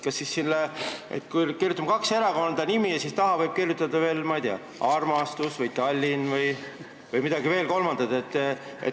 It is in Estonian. " Kas me kirjutame kahe erakonna nimed ja taha veel, ma ei tea, "armastus" või "Tallinn" või midagi veel kolmandat?